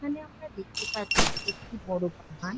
এখানে আমরা দেখতে পাচ্ছি একটি বড়ো বাগান।